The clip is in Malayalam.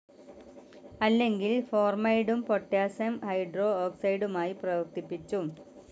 അല്ലെങ്കിൽ ഫോർമൈഡും പൊട്ടാസിയം ഹൈഡ്രോഓക്സൈഡുമായി പ്രവർത്തിപ്പിച്ചും